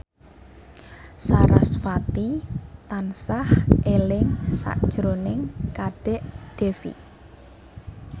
sarasvati tansah eling sakjroning Kadek Devi